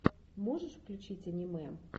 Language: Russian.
можешь включить аниме